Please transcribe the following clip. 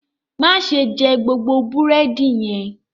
Má ṣe jẹ gbogbo búrẹ́dì yẹn!